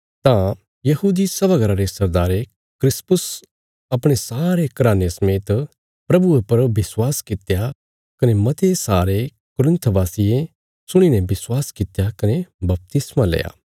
तां यहूदी सभा घरा रे सरदारे क्रिस्पुस अपणे सारे घराने समेत प्रभुये परा विश्वास कित्या कने मते सारे कुरिन्थ वासियें सुणी ने विश्वास कित्या कने बपतिस्मा लेया